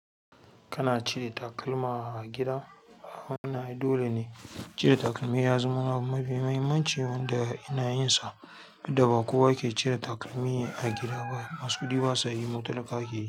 Kana cire takalma a gida? Wannan ai dole ne cire takalmi ya zama abu mafi muhimmanci wanda ina yinsa. Dukda ba kowa ke cire takalmi a gida ba. Masu kuɗi basa yi mu talakawa keyi.